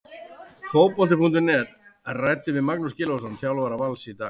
Fótbolti.net ræddi við Magnús Gylfason, þjálfara Vals, í dag.